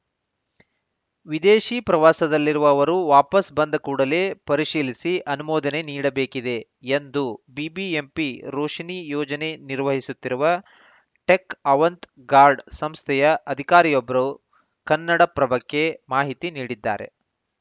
ವಿದೇಶಿ ಪ್ರವಾಸದಲ್ಲಿರುವ ಅವರು ವಾಪಸ್‌ ಬಂದ ಕೂಡಲೇ ಪರಿಶೀಲಿಸಿ ಅನುಮೋದನೆ ನೀಡಬೇಕಿದೆ ಎಂದು ಬಿಬಿಎಂಪಿ ರೋಶಿನಿ ಯೋಜನೆ ನಿರ್ವಹಿಸುತ್ತಿರುವ ಟೆಕ್‌ ಅವಂತ್‌ ಗಾರ್ಡ್‌ ಸಂಸ್ಥೆಯ ಅಧಿಕಾರಿಯೊಬ್ರು ಕನ್ನಡಪ್ರಭಕ್ಕೆ ಮಾಹಿತಿ ನೀಡಿದ್ದಾರೆ